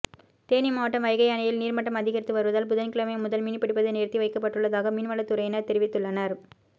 தேனி மாவட்டம் வைகை அணையில் நீா்மட்டம் அதிகரித்து வருவதால் புதன்கிழமை முதல் மீன்பிடிப்பது நிறுத்தி வைக்கப்பட்டுள்ளதாக மீன்வளத்துறையினா் தெரிவித்துள்ளனா்